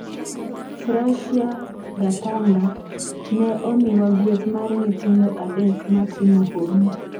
Frashia Gathanga: Ne omiwa gueth mar nyithindo adek ma timo hono